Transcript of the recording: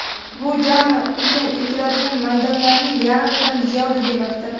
Bu jami ekin ekiladigan maydonlarning yarmidan ziyodi demakdir.